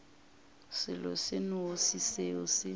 selo se nnoši seo se